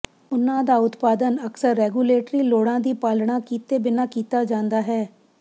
ਉਨ੍ਹਾਂ ਦਾ ਉਤਪਾਦਨ ਅਕਸਰ ਰੈਗੂਲੇਟਰੀ ਲੋੜਾਂ ਦੀ ਪਾਲਣਾ ਕੀਤੇ ਬਿਨਾਂ ਕੀਤਾ ਜਾਂਦਾ ਹੈ